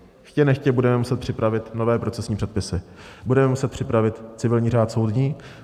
Chtě nechtě budeme muset připravit nové procesní předpisy, budeme muset připravit civilní řád soudní.